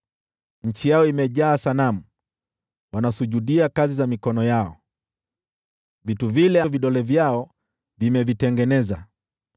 Nchi yao imejaa sanamu, wanasujudia kazi za mikono yao, vitu vile vidole vyao vimevitengeneza.